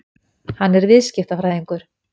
Hann er viðskiptafræðingur.